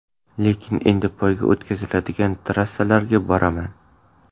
Lekin endi poyga o‘tkaziladigan trassalarga boraman.